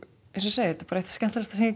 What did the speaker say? ég segi eitt skemmtilegasta sem ég